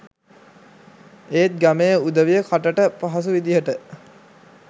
ඒත් ගමේ උදවිය කටට පහසු විදිහට